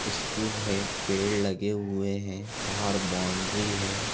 School है पेड़ लगे हुए हैं बाहर बॉउंड्री है।